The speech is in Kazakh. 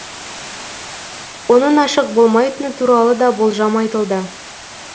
оның ашық болмайтыны туралы да болжам айтылды